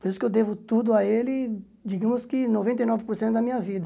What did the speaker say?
Por isso que eu devo tudo a ele, digamos que noventa e nove por cento da minha vida.